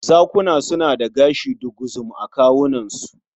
Zakuna suna da gashi duguzum a kawunansu.